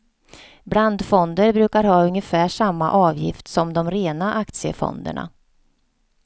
Blandfonder brukar ha ungefär samma avgift som de rena aktiefonderna.